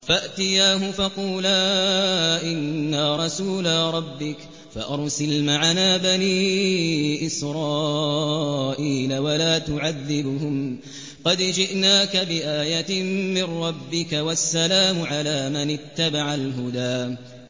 فَأْتِيَاهُ فَقُولَا إِنَّا رَسُولَا رَبِّكَ فَأَرْسِلْ مَعَنَا بَنِي إِسْرَائِيلَ وَلَا تُعَذِّبْهُمْ ۖ قَدْ جِئْنَاكَ بِآيَةٍ مِّن رَّبِّكَ ۖ وَالسَّلَامُ عَلَىٰ مَنِ اتَّبَعَ الْهُدَىٰ